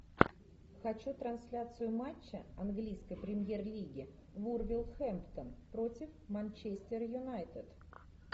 хочу трансляцию матча английской премьер лиги вулверхэмптон против манчестер юнайтед